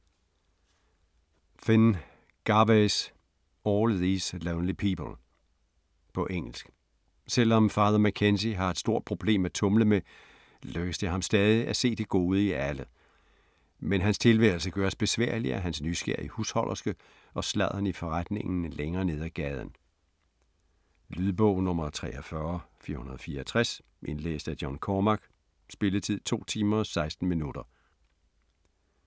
Phinn, Gervase: All these lonely people På engelsk. Selvom Father McKenzie har et stort problem at tumle med, lykkes det ham stadig at se det gode i alle. Men hans tilværelse gøres besværlig af hans nysgerrige husholderske og sladderen i forretningen længere ned af gaden. Lydbog 43464 Indlæst af John Cormack. Spilletid: 2 timer, 16 minutter.